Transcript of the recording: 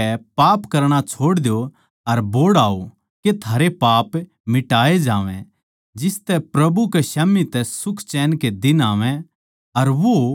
इस करकै पाप करणा छोड़ द्यो अर बोहड़ आओ के थारे पाप मिटाए जावै जिसतै प्रभु के स्याम्ही तै सुखचैन के दिन आवै